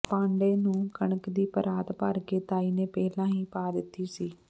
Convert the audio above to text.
ਪਾਂਧੇ ਨੂੰ ਕਣਕ ਦੀ ਪਰਾਤ ਭਰ ਕੇ ਤਾਈ ਨੇ ਪਹਿਲਾਂ ਹੀ ਪਾ ਦਿੱਤੀ ਸੀ